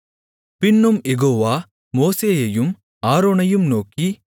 பின்னும் யெகோவா மோசேயையும் ஆரோனையும் நோக்கி